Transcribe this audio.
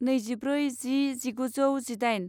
नैजिब्रै जि जिगुजौ जिदाइन